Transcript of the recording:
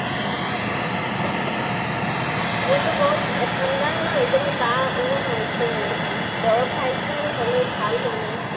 মোৰতো বহুত, ঠান্দা ন, কাহ ও হৈছে মানে, দৰব খাইছো হলেও ভাল হোৱা নাই